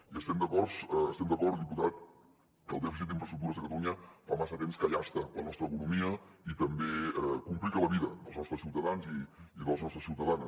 i estem d’acord estem d’acord diputat que el dèficit d’infraestructures a catalunya fa massa temps que llasta la nostra economia i també complica la vida dels nostres ciutadans i les nostres ciutadanes